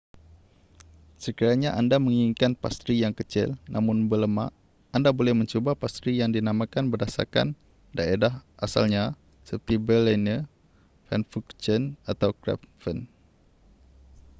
sekiranya anda menginginkan pastri yang kecil namun berlemak anda boleh mencuba pastri yang dinamakan berdasarkan daerah asalnya seperti berliner pfannkuchen atau krapfen